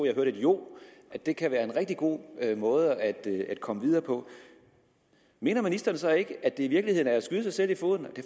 jeg hørte et jo at det kan være en rigtig god måde at komme videre på mener ministeren så ikke at det i virkeligheden er at skyde sig selv i foden det